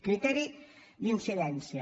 criteri d’incidència